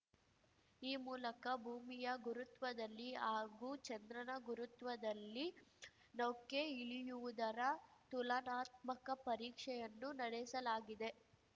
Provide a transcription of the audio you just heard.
ಈ ಮೂಲಕ ಭೂಮಿಯ ಗುರುತ್ವದಲ್ಲಿ ಹಾಗೂ ಚಂದ್ರನ ಗುರುತ್ವದಲ್ಲಿ ನೌಕೆ ಇಳಿಯುವುದರ ತುಲನಾತ್ಮಕ ಪರೀಕ್ಷೆಯನ್ನು ನಡೆಸಲಾಗಿದೆ